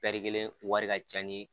Pɛri kelen wari ka ca ni